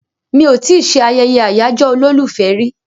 Mi ò tí ì ṣe ayẹyẹ àyájọ́ olólùfẹ́ rí